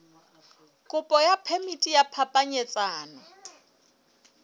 kopo ya phemiti ya phapanyetsano